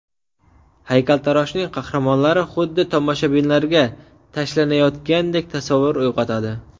Haykaltaroshning qahramonlari xuddi tomoshabinlarga tashlanayotgandek tasavvur uyg‘otadi.